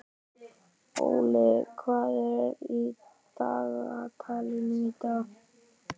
Olli, hvað er í dagatalinu í dag?